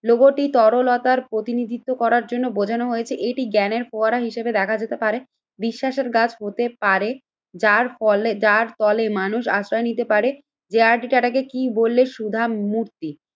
লোগোটি তরলতার প্রতিনিধিত্ব করার জন্য বোঝানো হয়েছে এটি জ্ঞানের ফোয়ারা হিসেবে দেখা যেতে পারে। বিশ্বাসের গাছ হতে পারে যার ফলে যার তলে মানুষ আশ্রয় নিতে পারে। যে আর ডি টাটাকে কি বললে সুধা মূর্তি?